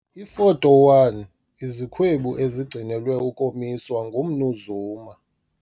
Ifoto 1- Izikhwebu ezigcinelwe ukomiswa nguMnu Zuma.